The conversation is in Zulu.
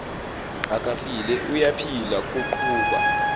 akafile uyaphila kuqhuba